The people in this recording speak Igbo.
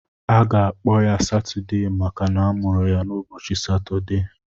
Aga-akpọ ya Satudee maka na amụrụ ya n'ụbọchị Satudee.